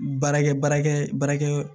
Baarakɛ baarakɛ baarakɛ